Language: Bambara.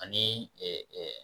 Ani ɛɛ